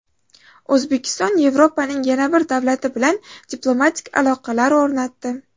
O‘zbekiston Yevropaning yana bir davlati bilan diplomatik aloqalar o‘rnatdi.